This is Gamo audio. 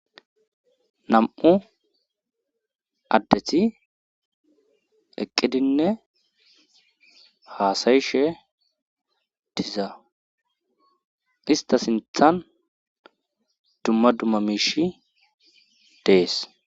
nam7u addeti eqqidinne haasayishe diza ista sinthan dumma dumma miish dees